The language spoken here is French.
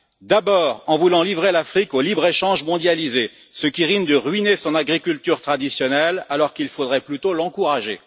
D'abord en voulant livrer l'Afrique au libre échange mondialisé, ce qui reviendrait à ruiner son agriculture traditionnelle alors qu'il faudrait plutôt l'encourager.